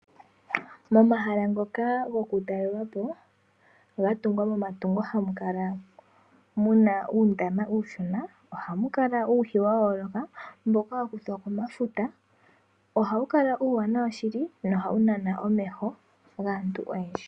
Momahala ngoka goku talelapo ga tungwa momatungo hamu kala muna uundama uushona. Ohamu kala uuhi wa yooloka mboka wa kuthwa komafuta. Ohawu kala uuwanawa shili nohawu nana omeho gaantu oyendji.